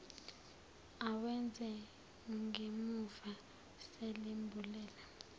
awenze ngemumva selimbulele